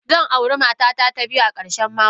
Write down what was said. Zan auri matata ta biyu a karshen mako.